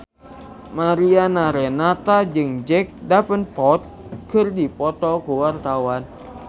Mariana Renata jeung Jack Davenport keur dipoto ku wartawan